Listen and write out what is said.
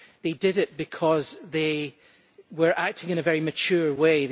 They did it because they were acting in a very mature way